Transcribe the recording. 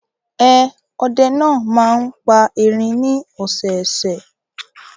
Ẹn, ọdẹ náà máa ń pa erin ní ọ̀sẹ̀ẹ̀sẹ̀.